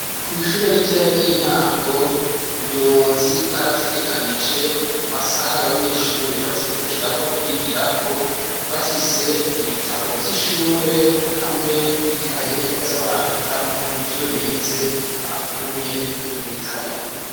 Kw'ishure ritoya ry'intango, ubuyobozi bwarategekanije amasaha abanyeshure bazindukirako kwigirako bafise ibitabo vy'ishure hamwe n'ikaye baza barandikamwo ivyo bize bakuye mu gitabo.